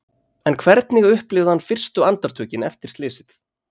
En hvernig upplifði hann fyrstu andartökin eftir slysið?